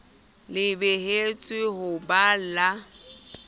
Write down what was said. le behetsweng ho ba la